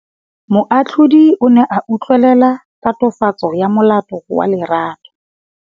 Moatlhodi o ne a utlwelela tatofatsô ya molato wa Lerato.